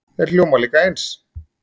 þeir hljóma líka eins